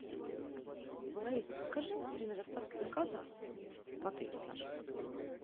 алиса подскажи время доставки заказа в отель наш